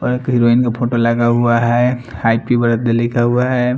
और एक हिरोइन का फोटो लगा हुआ हैं हैप्पी बर्थडे लिखा हुआ हैं।